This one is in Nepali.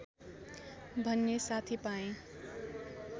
भन्ने साथी पाएँ